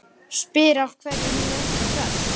Spyr af hverju hún sé svona hress.